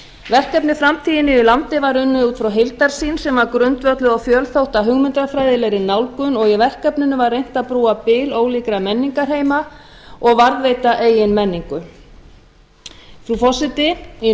verkefnið framtíð í nýju landi var unnið út frá heildarsýn sem var grundvölluð á fjölþætta hugmyndafræðilegri nálgun og í verkefninu var reynt að brúa bil ólíkra menningarheima og varðveita eigin menningu frú forseti í